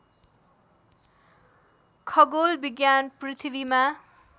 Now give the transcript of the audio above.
खगोल विज्ञान पृथ्वीमा